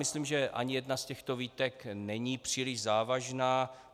Myslím, že ani jedna z těchto výtek není příliš závažná.